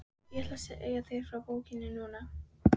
Ég ætla að segja þér frá bókinni núna.